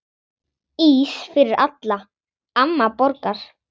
Ís fyrir alla, amma borgar